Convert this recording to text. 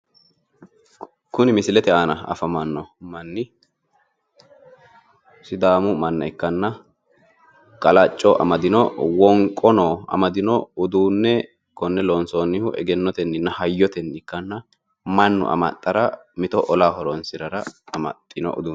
Kuni misilete aana afamanno manni sidaamu manna ikkanna qalacco amadino wonqono amadino uduunne konne loonsoonnihu egennotenninna hayyotenni ikkanna mannu amaxxara mito olaho horonsirara amaxxino uduneeti.